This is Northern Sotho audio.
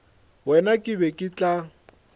wena ke be ke tla